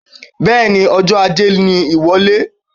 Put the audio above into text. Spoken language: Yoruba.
Bẹẹni Ọjọ ajé ní iwọlé